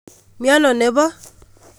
Miano nebo?